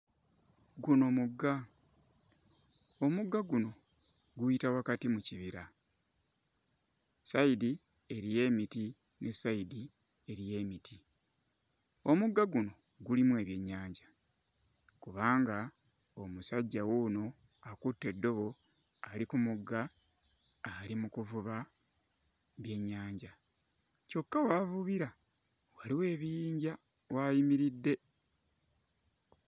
Guno mugga, omugga guno guyita wakati mu kibira, ssayidi eriyo emiti ne ssayidi eriyo emiti, omugga guno gulimu ebyennyanja kubanga omusajja wuuno akutte eddobo ali ku mugga ali mu kuvuba byennyanja kyokka w'avubira waliwo ebiyinja w'ayimiridde.